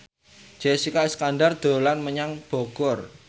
Jessica Iskandar dolan menyang Bogor